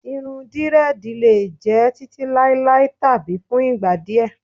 Irun drẹ́ẹ̀dì lè jẹ́ títí láéláé tàbí fún ìgbà díẹ̀.